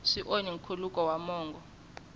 swi onhi nkhuluko wa mongo